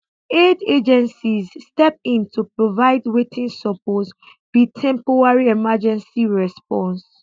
aid agencies step in to provide wetin suppose be temporary emergency response